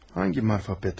Hansı Marfa Petrovna?